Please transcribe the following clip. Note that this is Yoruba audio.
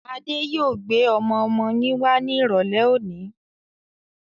Adé yòó gbé ọmọ-ọmọ yín wá ní irọ̀lẹ́ òní.